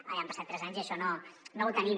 ja han passat tres anys i això no ho tenim